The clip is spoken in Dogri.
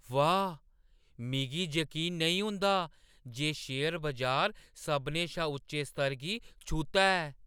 वाह्, मिगी जकीन नेईं होंदा जे शेयर बजार सभनें शा उच्चे स्तर गी छूह्‌ता ऐ!